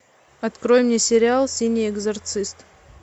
открой мне сериал синий экзорцист